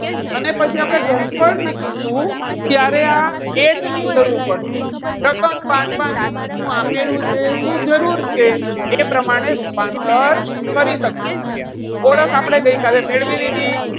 અને પછી આપણે ઘનફળ શીખીછું. ત્યારે આ H ની જરૂર પડશે. રકમ વાંચવાની છે, શું આપેલું છે, શું જરૂર છે? એ પ્રમાણે રૂપાંતર કરી શકશો. ઓળખ આપણે ગઈકાલે મેળવી લીધી.